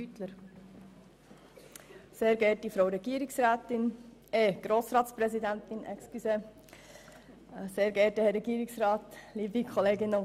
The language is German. Deshalb tragen wir diese Massnahme mit und lehnen den Abänderungsantrag ab.